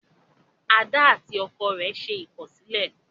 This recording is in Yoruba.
Ada àti ọkọ rẹ n'se ikọsilẹ